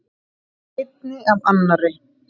Einni af annarri.